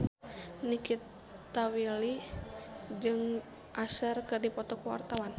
Nikita Willy jeung Usher keur dipoto ku wartawan